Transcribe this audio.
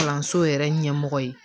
Kalanso yɛrɛ ɲɛmɔgɔ ye